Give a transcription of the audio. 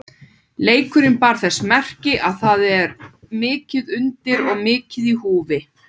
Leikurinn bar þess merki að það er mikið undir og mikið í húfi.